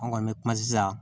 An kɔni bɛ kuma sisan